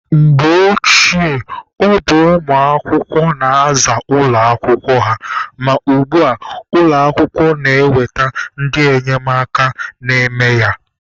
Mgbe gboo, ọ bụ ụmụ akwụkwọ na-aza ụlọ akwụkwọ ha, ma ugbua, ụlọ akwụkwọ na-eweta ndị enyemaka na-eme ya.